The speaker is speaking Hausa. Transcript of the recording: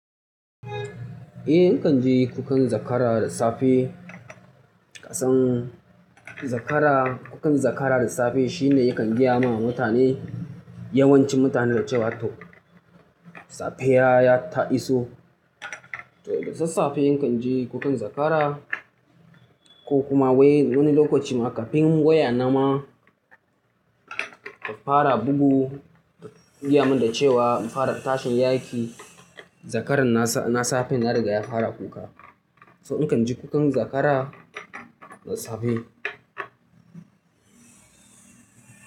Eh, in kan ji kukan zakara da safe. Kasan zakara, kukan zakara da safe shine yakan gaya ma mutane, yawancin mutane da cewa to safiya ya ta iso. To da sasafe in kan ji kukan zakara ko kuma wai wani lokaci ma kafin waya na ma ta fara bugu, ta gaya min da cewa in fara tashin in yi aiƙi zakaran na safe ya riga ya fara kuka. So in kan ji kukan zakara da safe.